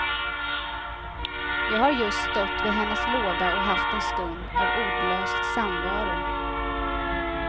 Jag har just stått vid hennes låda och haft en stund av ordlös samvaro.